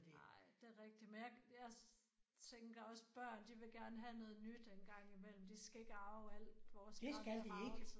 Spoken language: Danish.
Nej det er rigtigt men jeg jeg tænker også børn de vil gerne have noget nyt engang imellem de skal ikke arve alt vores gamle ragelse